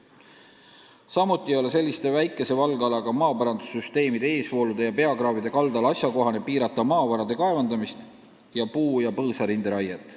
Samuti ei ole selliste väikese valgalaga maaparandussüsteemide eesvoolude ja peakraavide kaldal asjakohane piirata maavarade kaevandamist ja puu- ja põõsarinde raiet.